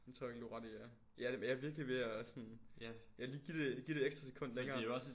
Det tror jeg egentlig du har ret i ja. Ja ja virkelig ved at sådan ja lige give det et ekstra sekund længere